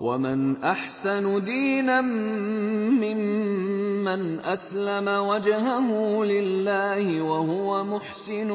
وَمَنْ أَحْسَنُ دِينًا مِّمَّنْ أَسْلَمَ وَجْهَهُ لِلَّهِ وَهُوَ مُحْسِنٌ